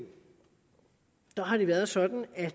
der har det været sådan at